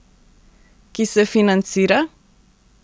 Ki se financira?